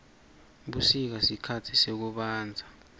busika sikhatsi sekubandza